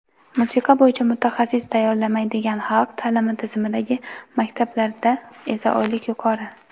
Musiqa bo‘yicha mutaxassis tayyorlamaydigan xalq ta’limi tizimidagi maktablarda esa oylik yuqori.